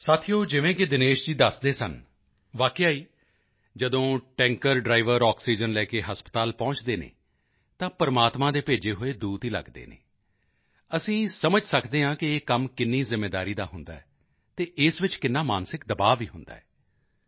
ਸਾਥੀਓ ਜਿਵੇਂ ਕਿ ਦਿਨੇਸ਼ ਜੀ ਦੱਸਦੇ ਸਨ ਵਾਕਿਆ ਹੀ ਜਦੋਂ ਟੈਂਕਰ ਡ੍ਰਾਈਵਰ ਆਕਸੀਜਨ ਲੈ ਕੇ ਹਸਪਤਾਲ ਪਹੁੰਚਦੇ ਹਨ ਤਾਂ ਪ੍ਰਮਾਤਮਾ ਦੇ ਭੇਜੇ ਹੋਏ ਦੂਤ ਹੀ ਲੱਗਦੇ ਹਨ ਅਸੀਂ ਸਮਝ ਸਕਦੇ ਹਾਂ ਕਿ ਇਹ ਕੰਮ ਕਿੰਨੀ ਜ਼ਿੰਮੇਵਾਰੀ ਦਾ ਹੁੰਦਾ ਹੈ ਅਤੇ ਇਸ ਵਿੱਚ ਕਿੰਨਾ ਮਾਨਸਿਕ ਦਬਾਅ ਵੀ ਹੁੰਦਾ ਹੈ